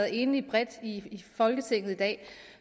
enige bredt i folketinget i dag